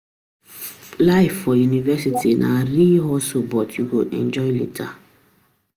Life for university na real hustle but you go enjoy later.